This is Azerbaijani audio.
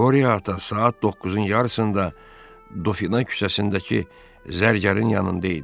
Qoriya ata saat 9-un yarısında Dofina küçəsindəki zərgərin yanında idi.